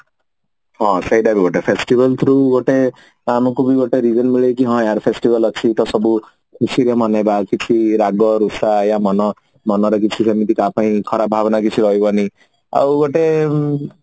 ହଁ ସେଇଟା ବି ଗୋଟେ festival through ବି ଗୋଟେ ଆମକୁ ବି ଗୋଟେ reveal ମିଲେକି ହଁ ଆରେ festival ଅଛି ତ ସବୁ କ୍ୟୁକି ରାଗ ରୁଷା ୟା ମନ ମନରେ କିଛି କାହାପାଇଁ ଖରାପ ଭାବନା କିଛି ରହିବନି ଆଉ ଗୋଟେ ଉମ